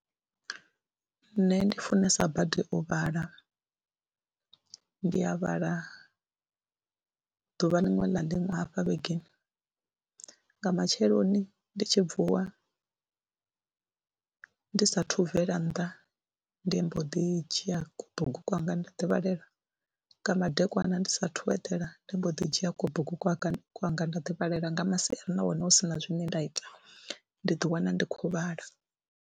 Nṋe ndi funesa badi u vhala, ndi ya vhala ḓuvha liṅwe na liṅwe hafha vhegeni nga matsheloni ndi tshi vuwa ndi saathu bvela nnḓa ndi mbo ḓi dzhia kubugu kwanga nda ḓi balelwa, nga madekwana ndi saathu u edela ndi mbo ḓi dzhia kubugu kwanga nda ḓi balelwa, nga masiari na hone hu si na zwine nda ita ndi ḓiwana ndi khou vhala.